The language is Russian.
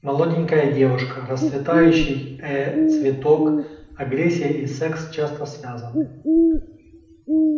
молоденькая девушка расцветающий э цветок агрессия и секс часто связаны